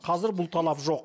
қазір бұл талап жоқ